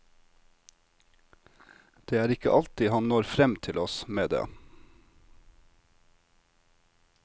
Det er ikke alltid han når frem til oss med det.